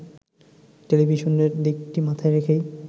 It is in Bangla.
টেলিভিশনের দিকটি মাথায় রেখেই